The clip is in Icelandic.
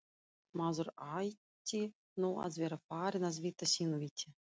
Maður ætti nú að vera farinn að vita sínu viti.